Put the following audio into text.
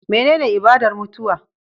Menene ibadar mutuwa